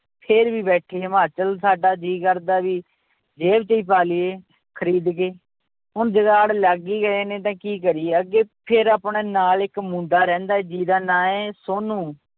ਫਿਰ ਵੀ ਬੈਠੇ ਹਿਮਾਚਲ ਸਾਡਾ ਜੀਅ ਕਰਦਾ ਵੀ ਜ਼ੇਬ 'ਚ ਹੀ ਪਾ ਲਈਏ ਖ਼ਰੀਦ ਕੇ, ਹੁਣ ਜੁਗਾੜ ਲੱਗ ਹੀ ਗਏ ਨੇ ਤਾਂ ਕੀ ਕਰੀਏ, ਅੱਗੇ ਫਿਰ ਆਪਣੇ ਨਾਲ ਇੱਕ ਮੁੰਡਾ ਰਹਿੰਦਾ ਹੈ ਜਿਹਦਾ ਨਾਂ ਹੈ ਸੋਨੂੰ।